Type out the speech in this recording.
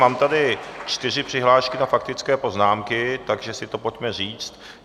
Mám tady čtyři přihlášky na faktické poznámky, takže si to pojďme říct.